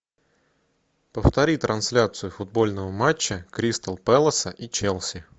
повтори трансляцию футбольного матча кристал пэласа и челси